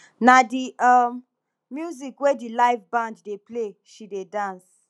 na di um music wey di live band dey play she dey dance